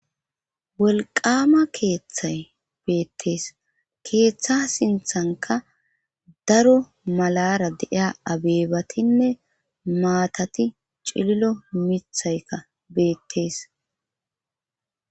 wolqama keeththay beettees keeththa sinthanka daro malara deia abeebatinne maatati cililo mithayka beettees